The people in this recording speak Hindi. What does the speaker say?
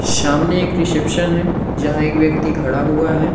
सामने एक रिसेप्शन है जहां एक व्यक्ति खड़ा हुआ है।